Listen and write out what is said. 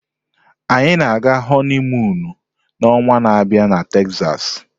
Anyị na-aga honiimuunu na onwa na abịa na Texas.